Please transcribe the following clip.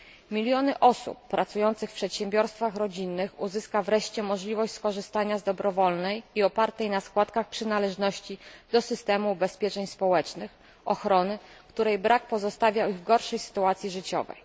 Miliony osób pracujących w przedsiębiorstwach rodzinnych uzyska wreszcie możliwość skorzystania z dobrowolnej i opartej na przynależności do systemu ubezpieczeń społecznych ochrony, której brak pozostawia ich w gorszej sytuacji życiowej.